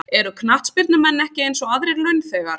Eru knattspyrnumenn ekki eins og aðrir launþegar?